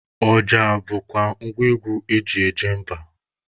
Ọja bụkwa ngwa egwu eji eje mba.